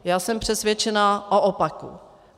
Já jsem přesvědčena o opaku.